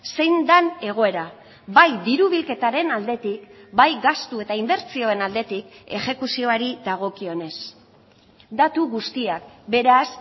zein den egoera bai diru bilketaren aldetik bai gastu eta inbertsioen aldetik exekuzioari dagokionez datu guztiak beraz